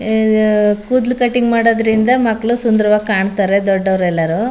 ಏ ಕೂದಲು ಕಟಿಂಗ್ ಮಾಡೋದ್ರಿಂದ ಮಕ್ಕಳು ಸುಂದರವಾಗಿ ಕಾಣ್ತಾರೆ ದೊಡ್ಡೋರ್ ಎಲ್ಲರೂ --